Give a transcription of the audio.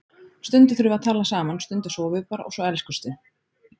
Stundum þurfum við að tala saman, stundum sofum við bara og svo elskumst við.